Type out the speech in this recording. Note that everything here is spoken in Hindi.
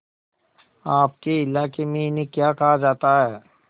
आपके इलाके में इन्हें क्या कहा जाता है